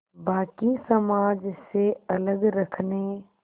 बाक़ी समाज से अलग रखने